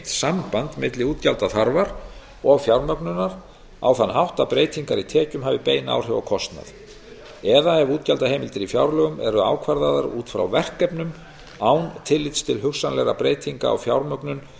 samband milli útgjaldaþarfar og fjármögnunar á þann hátt að breytingar í tekjum hafi bein áhrif á kostnað eða ef útgjaldaheimildir í fjárlögum eru ákvarðaðar út frá verkefnum án tillits til hugsanlegra breytinga á fjármögnun